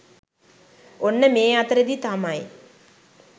ඔන්න මේ අතරෙදි තමයි